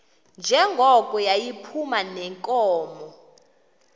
njengoko yayiphuma neenkomo